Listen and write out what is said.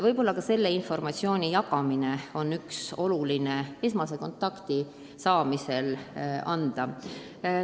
Esmase kontakti saamisel on oluline ka sellist informatsiooni jagada.